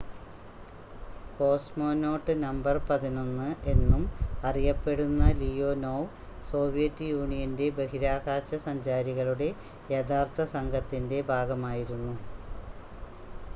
"""Cosmonaut number 11" എന്നും അറിയപ്പെടുന്ന Leonov Soviet യൂണിയന്റെ ബഹിരാകാശ സഞ്ചാരികളുടെ യഥാർത്ഥ സംഘത്തിന്റെ ഭാഗമായിരുന്നു.